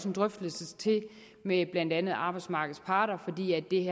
en drøftelse til med blandt andet arbejdsmarkedets parter fordi det